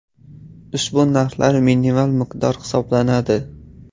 Ushbu narxlar minimal miqdor hisoblanadi.